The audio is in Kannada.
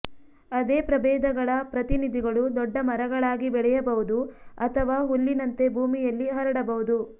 ಅದೇ ಪ್ರಭೇದಗಳ ಪ್ರತಿನಿಧಿಗಳು ದೊಡ್ಡ ಮರಗಳಾಗಿ ಬೆಳೆಯಬಹುದು ಅಥವಾ ಹುಲ್ಲಿನಂತೆ ಭೂಮಿಯಲ್ಲಿ ಹರಡಬಹುದು